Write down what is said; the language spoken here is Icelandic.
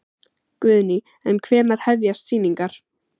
Guðný: En hvenær hefjast sýningar?